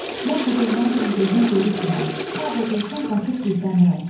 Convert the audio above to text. Mən qubernatorun gözünə görükmürəm, harda görsəm qaçıb gizlənirəm.